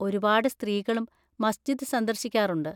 ഒരുപാട് സ്ത്രീകളും മസ്ജിദ് സന്ദർശിക്കാറുണ്ട്.